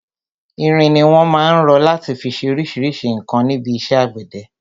Irin ni wọn má ń rọ láti fi ṣe oríṣríṣi nǹkan níbi iṣẹ́ àgbẹ̀dẹ.